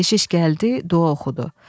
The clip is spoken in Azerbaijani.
Keşiş gəldi, dua oxudu.